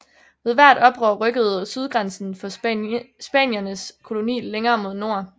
Ved hvert oprør rykkede sydgrænsen for spaniernes koloni længere mod nord